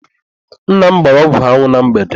Nna m gbara ọgwụ anwụ na mgbede.